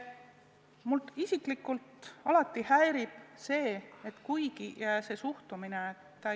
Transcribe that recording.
Mind isiklikult alati häirib see suhtumine.